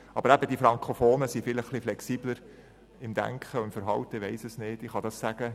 Aber eben: Die Frankofonen sind vielleicht ein bisschen flexibler im Denken und im Verhalten als die Oberländer.